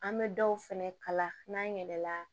An bɛ dɔw fɛnɛ kala n'an yɛlɛla